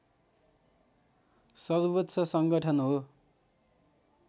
सर्वोच्च सङ्गठन हो